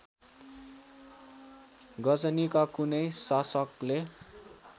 गजनीका कुनै शासकले